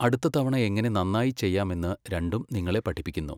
അടുത്ത തവണ എങ്ങനെ നന്നായി ചെയ്യാമെന്ന് രണ്ടും നിങ്ങളെ പഠിപ്പിക്കുന്നു.